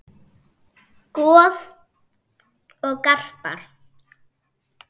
Uppúr einni herför